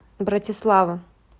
братислава